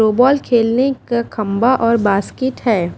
फ्यूबॉल खेलने का खंबा और बास्केट है।